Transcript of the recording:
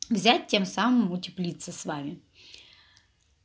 взять тем самым утеплиться с вами